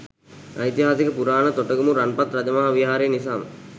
ඓතිහාසික පුරාණ තොටගමු රන්පත් රජමහා විහාරය නිසාම